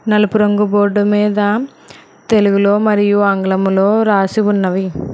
నలుపు రంగు బోర్డు మీద తెలుగులో మరియు ఆంగ్లంములో రాసి ఉన్నావి.